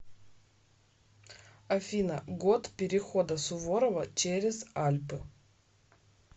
афина год перехода суворова через альпы